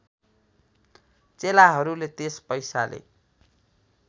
चेलाहरूले त्यस पैसाले